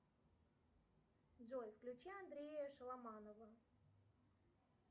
джой включи андрея шеломанова